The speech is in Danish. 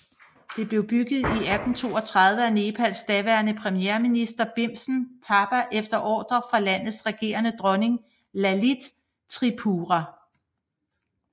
Det blev bygget i 1832 af Nepals daværende premierminister Bhimsen Thapa efter ordre fra landets regerende dronning Lalit Tripura